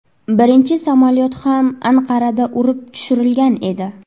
Birinchi samolyot ham Anqarada urib tushirilgan edi.